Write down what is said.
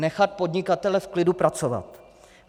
Nechat podnikatele v klidu pracovat.